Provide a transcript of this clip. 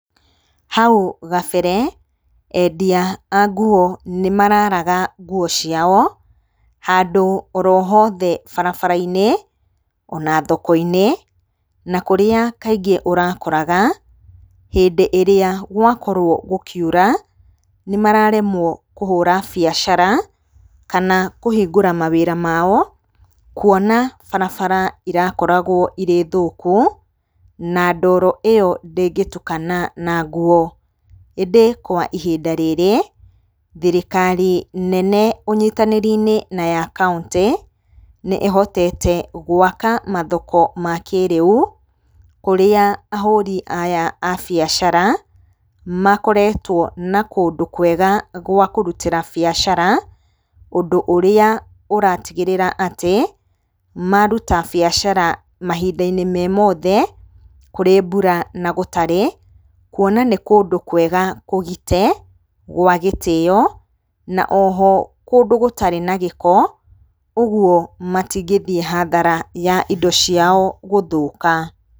Hau gabere, endia a nguo nĩ mararaga nguo ciao, handũ oro hothe barabara-inĩ, ona thoko-inĩ, na kũrĩa kaingĩ ũrakoraga, hĩndĩ ĩrĩa gwakorwo gũkiura, nĩ mararemwo kũhũra biacara, kana kũhingũra mawĩra mao, kuona barabara irakoragwo irĩ thũku, na ndoro ĩyo ndĩngĩtukana na nguo. Ĩndĩ kwa ihinda rĩrĩ, thirikari nene ũnyitanĩri-inĩ na ya kauntĩ, nĩ ĩhotete gwaka mathoko ma kĩrĩu, kũrĩa ahũri aya a biacara, makoretwo na kũndũ kwega gwa kũrutĩra mbiacara, ũndũ ũrĩa ũratigĩrĩra atĩ, maruta biacara mahinda-inĩ me mothe, kũrĩ mbura na gũtarĩ, kuona nĩ kũndũ kwega kũgite, gwa gĩtĩyo, na oho kũndũ gũtarĩ na gĩko, ũguo matingĩthiĩ hathara ya indo ciao gũthũka.